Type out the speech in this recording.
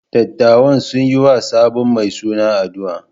Dattawan sun yi wa sabon mai suna addu’a.